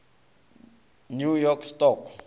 new york stock